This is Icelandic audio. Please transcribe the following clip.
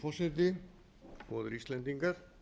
virðulegi forseti góðir íslendingar